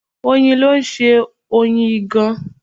Oyin ló ń ṣe Oyin ìgàn.